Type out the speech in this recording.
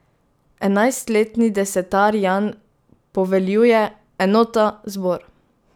Enajstletni desetar Jan poveljuje: 'Enota zbor!